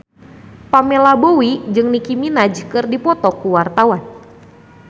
Pamela Bowie jeung Nicky Minaj keur dipoto ku wartawan